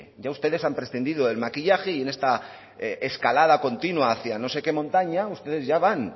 ya ustedes han prescindido del maquillaje y en esta escalada continua hacia no sé qué montaña ustedes ya van